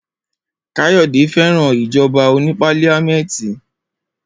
Kayode féràn ìjoba oní pálíamẹ́tì.